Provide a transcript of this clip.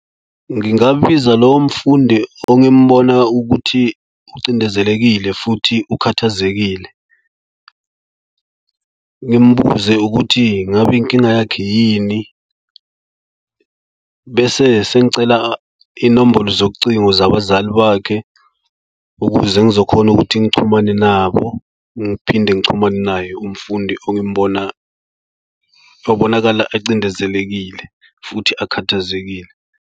Ngingambiza lowo mfundi ongimbona ukuthi ucindezelekile futhi ukhathazekile. Ngimbuze ukuthi ngabe inkinga yakhe yini. Bese sengicela inombolo zocingo zabazali bakhe ukuze ngizokhona ukuthi ngichumane nabo ngiphinde ngichumane naye umfundi ongimbona obonakala ecindezelekile futhi akhathazekile.